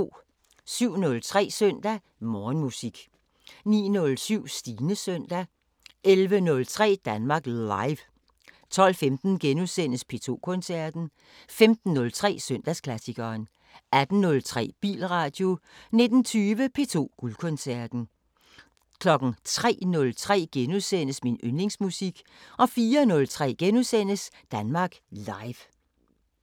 07:03: Søndag Morgenmusik 09:07: Stines søndag 11:03: Danmark Live 12:15: P2 Koncerten * 15:03: Søndagsklassikeren 18:03: Bilradio 19:20: P2 Guldkoncerten 03:03: Min yndlingsmusik * 04:03: Danmark Live *